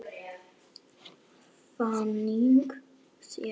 Þannig séð.